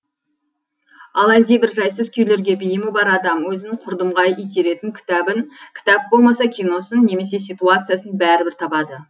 ал әлдебір жайсыз күйлерге бейімі бар адам өзін құрдымға итеретін кітабын кітап болмаса киносын немесе ситуациясын бәрібір табады